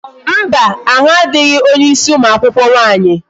Mba, ahụ adịghị onye ịsị ụmụ akwụkwọ nwaanyị